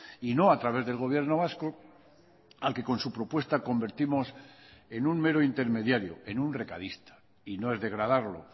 y no a través del gobierno vasco al que con su propuesta convertimos en un mero intermediario en un recadista y no es degradarlo